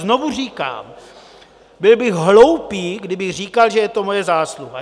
Znovu říkám, byl bych hloupý, kdybych říkal, že je to moje zásluha.